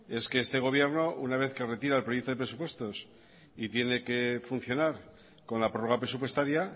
es que este gobierno una vez que retira el proyecto de presupuestos y tiene que funcionar con la prorroga presupuestaria